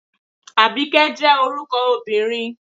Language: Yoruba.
Àbíkẹ́ jẹ́ orúkọ obìnrin